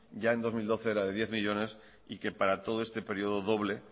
ya en dos mil doce era de diez millónes y que para todo este período doble